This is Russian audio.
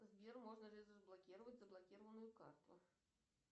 сбер можно ли разблокировать заблокированную карту